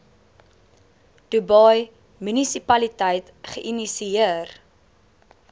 dubai munisipaliteit geïnisieer